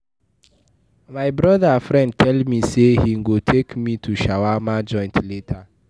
My broda friend tell me say he go take me to shawarma joint later.